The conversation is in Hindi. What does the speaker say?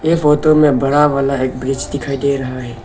ये फोतो में बड़ा वाला एक ब्रिज दिखाई दे रहा है।